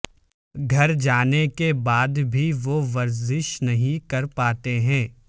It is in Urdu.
گھر جانے کے بعد بھی وہ ورزش نہیں کر پاتے ہیں